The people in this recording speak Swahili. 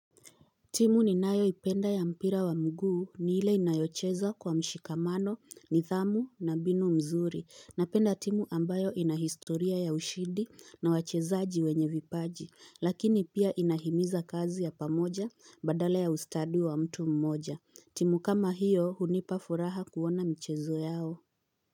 Timu ninayoipenda ya mpira wa mguu ni ile inayocheza kwa mshikamano nidhamu na mbinu mzuri napenda timu ambayo ina historia ya ushidi na wachezaji wenye vipaji lakini pia inahimiza kazi ya pamoja badala ya ustadi wa mtu mmoja. Timu kama hiyo hunipa furaha kuona michezo yao.